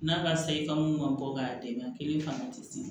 N'a b'a san i ka mun ka bɔ ka denbaya kelen fana tɛ se